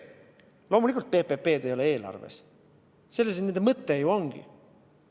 Loomulikult ei ole PPP-d eelarves, selles nende mõte ju ongi.